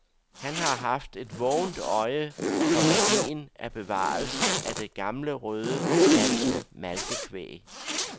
Han har haft et vågent øje for værdien af bevarelsen af det gamle røde danske malkekvæg.